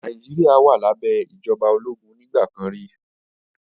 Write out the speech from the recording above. Nàìjíríà wà lábẹ́ ìjọba ológun nígbà kan rí